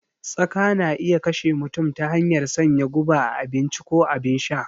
Tsaka na iya kashe mutum ta hanyar sanya guba a abinci ko abin sha